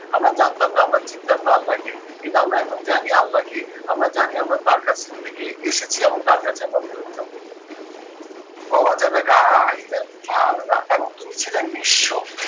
আমরা জানতাম না আমরা চিনতাম না আল্লাহকে, কিন্তু আমরা এখন জানি আল্লাহ কে, আমরা জানি আমরা তার কাছে থেকে এসেছি এবং তার কাছে আমরা ফেরত যাবো। এবং তুমি ছিলে নিঃস্ব,